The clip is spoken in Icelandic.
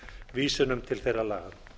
vísunum til þeirra laga